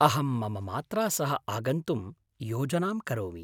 अहं मम मात्रा सह आगन्तुं योजनां करोमि।